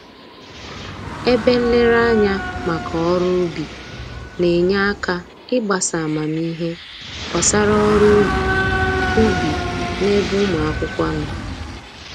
Ebe nlereanya maka ọrụ ubi na-enye aka ịgbasa amamihe gbasara ọrụ ubi ubi n'ebe ụmụ akwụkwọ nọ